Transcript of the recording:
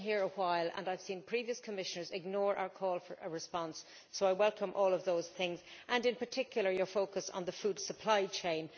I have been here a while and I have seen previous Commissioners ignore our call for a response, so I welcome all of those things and, in particular, your focus on the food supply chain.